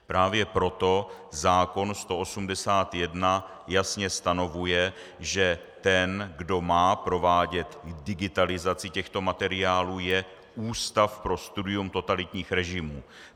Právě proto zákon 181 jasně stanovuje, že ten, kdo má provádět digitalizaci těchto materiálů, je Ústav pro studium totalitních režimů.